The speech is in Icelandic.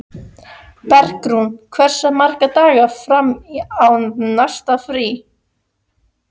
Bergrún, hversu margir dagar fram að næsta fríi?